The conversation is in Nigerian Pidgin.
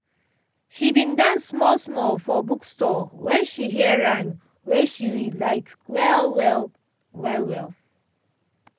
she bin dance small small for bookstore when she hear rhythm wey she like well well. well well.